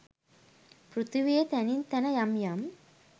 පෘථිවියේ තැනින් තැන යම් යම්